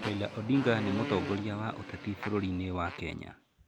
Raila Odinga nĩ mũtongoria wa ũteti bũrũriinĩ wa Kenya.